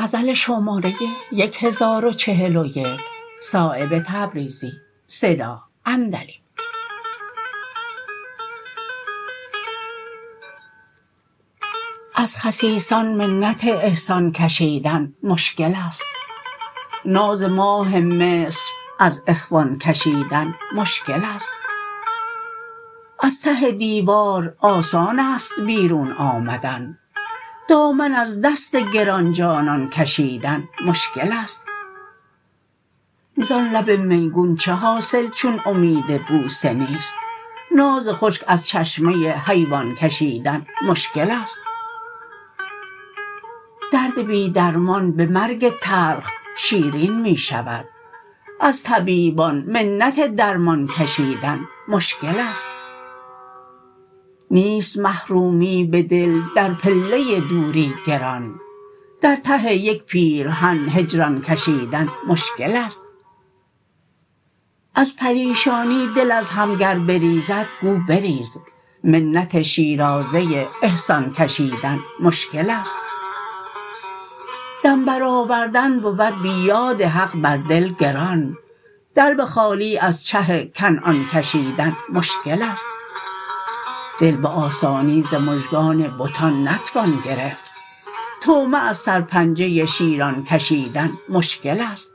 از خسیسان منت احسان کشیدن مشکل است ناز ماه مصر از اخوان کشیدن مشکل است از ته دیوار آسان بیرون آمدن دامن از دست گرانجانان کشیدن مشکل است زان لب میگون چه حاصل چون امید بوسه نیست ناز خشک از چشمه حیوان کشیدن مشکل است درد بی درمان به مرگ تلخ شیرین می شود از طبیبان منت درمان کشیدن مشکل است نیست محرومی به دل در پله دوری گران در ته یک پیرهن هجران کشیدن مشکل است از پریشانی دل از هم گر بریزد گو بریز منت شیرازه احسان کشیدن مشکل است دم برآوردن بود بی یاد حق بر دل گران دلو خالی از چه کنعان کشیدن مشکل است دل به آسانی ز مژگان بتان نتوان گرفت طعمه از سرپنجه شیران کشیدن مشکل است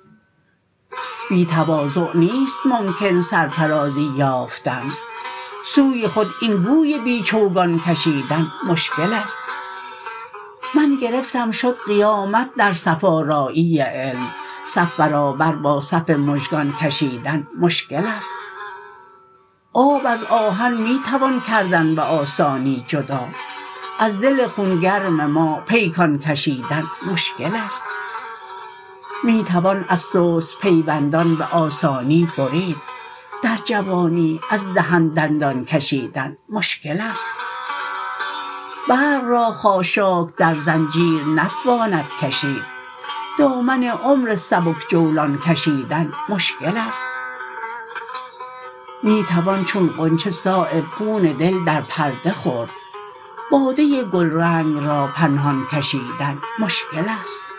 بی تواضع نیست ممکن سرفرازی یافتن سوی خود این گوی بی چوگان کشیدن مشکل است من گرفتم شد قیامت در صف آرایی علم صف برابر با صف مژگان کشیدن مشکل است آب از آهن می توان کردن به آسانی جدا از دل خونگرم ما پیکان کشیدن مشکل است می توان از سست پیوندان به آسانی برید در جوانی از دهن دندان کشیدن مشکل است برق را خاشاک در زنجیر نتواند کشید دامن عمر سبک جولان کشیدن مشکل است می توان چون غنچه صایب خون دل در پرده خورد باده گلرنگ را پنهان کشیدن مشکل است